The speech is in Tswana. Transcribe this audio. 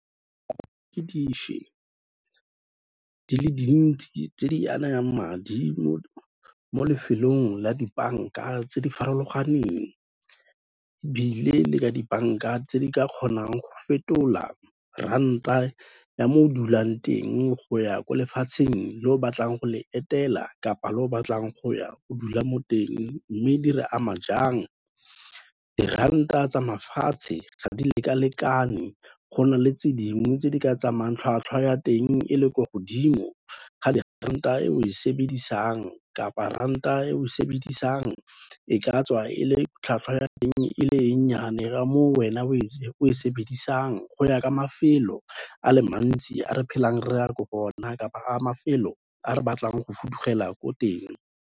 Ke di fe di le dintsi tse di anayang madi mo lefelong la dibanka tse di farologaneng ebile le ka dibanka tse di ka kgonang go fetola ranta ya mo o dulang teng go ya ko lefatsheng le o batlang go le etela kapa le o batlang go ya o dula mo teng, mme di re ama jang. Diranta tsa mafatshe ga di leka-lekane, go na le tse dingwe tse di ka tsamayang tlhwatlhwa ya teng e le ko godimo ga diranta e o e sebedisang kapa ranta e o e sebedisang e ka tswa e le tlhwatlhwa ya eng e le e nnyane ka mo wena o e sebedisang go ya ka mafelo a le mantsi a re phelang re ya ko go o na kapa mafelo a re batlang go fudugela ko teng.